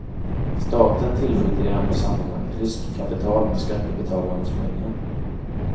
Staten tillskjuter i andra sammanhang riskkapital med skattebetalarnas pengar.